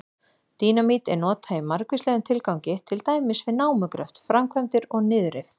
Dínamít er notað í margvíslegum tilgangi, til dæmis við námugröft, framkvæmdir og niðurrif.